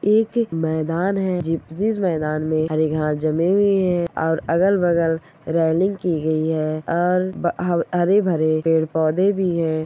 एक एक मैदान है जी जिस मैदान मे हरी घास जमी हुई है और अलग-बगल रैलिंग की गई है और हरे-भरे पेड़-पौधे भी है।